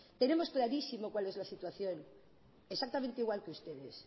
tenemos clarísimo cuál es la situación exactamente igual que ustedes